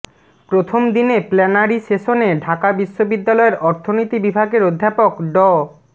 প্রথম দিনে প্ল্যানারি সেশনে ঢাকা বিশ্ববিদ্যালয়ের অর্থনীতি বিভাগের অধ্যাপক ড